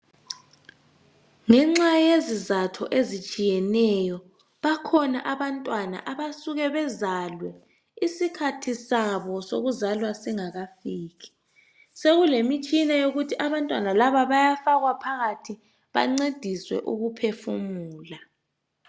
ngenxa yezizatho ezitshiyeneyo bakhona abantwana abasuka bezalwe isikhathi sabo sokuzalwa singakafiki sekulemitshina yokuthi abantwana laba bayafakwa phakathi bancediswe ukuphefumula